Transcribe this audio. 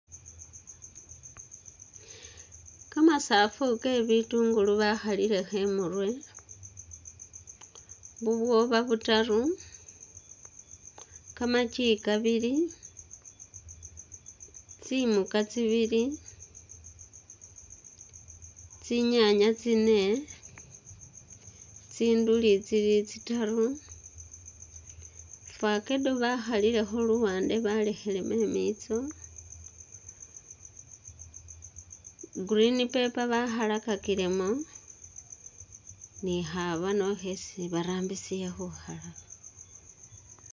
Kamasafu ke bitungulu bakhalilekho imurwe, bubwoba butaru, kamaki kabili, tsimuka tsibili, tsinyaanya tsine, tsinduli tsili tsitaru, facedown bakhalilekho luwaande balekhilemu i'miitso, green paper bakhalakakilemo ni khabano khesi barambisile khukhalaka.